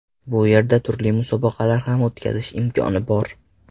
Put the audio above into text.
Bu yerda turli musobaqalar ham o‘tkazish imkoni bor.